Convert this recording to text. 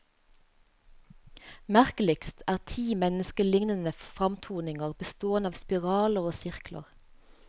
Merkeligst er ti menneskeliknende framtoninger bestående av spiraler og sirkler.